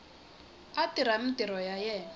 a tirha mintirho ya yena